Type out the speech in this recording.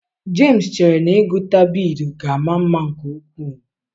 Jemsi chere na ịgụta biidii ga-ama mma nke ukwuu